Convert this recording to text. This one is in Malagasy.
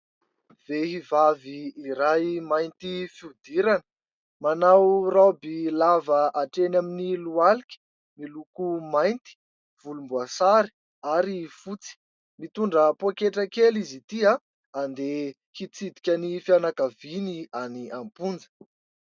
Vehivavy iray mainty fihodirana. Manao raoby lava hatreny amin'ny lohalika miloko mainty, volomboasary ary fotsy. Mitondra pôketra kely izy Ity. Andeha hitsidika ny fianakaviany any am-ponja.